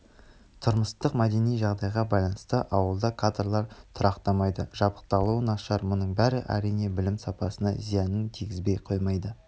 тұрмыстық мәдени жағдайға байланысты ауылда кадрлар тұрақтамайды жабдықталуы нашар мұның бәрі әрине білім сапасына зиянын тигізбей қоймайды